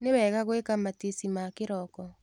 Nĩwega gwĩka matici ma kĩroko.